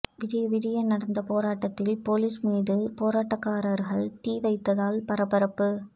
விடிய விடிய நடந்த போராட்டத்தில் பொலிஸ் மீது போராட்டக்காரர்கள் தீ வைத்ததால் பரபரப்பு